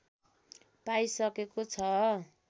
पाइसकेको छ